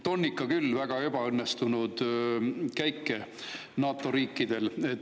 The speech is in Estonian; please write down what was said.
On ikka küll olnud väga ebaõnnestunud käike NATO riikidel!